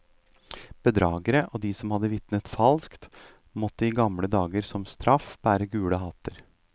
Bedragere og de som hadde vitnet falskt, måtte i gamle dager som straff bære gule hatter.